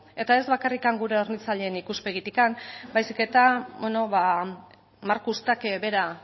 eta ez bakarrik gure hornitzaileen ikuspegitik baizik eta beno ba markus tacke bera